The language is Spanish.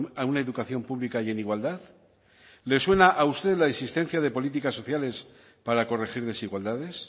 a una educación pública y en igualdad le suena a usted la insistencia de políticas sociales para corregir desigualdades